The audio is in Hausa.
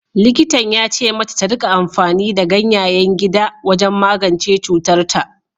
Likitan ya ce mata ta rika amfani da ganyayen gida wajen magance cutarta.